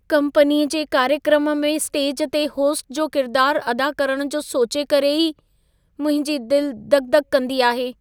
कम्पनीअ जे कार्यक्रम में स्टेज ते होस्ट जो किरदारु अदा करणु जो सोचे करे ई मुंहिंजी दिलि दक -दक कंदी आहे।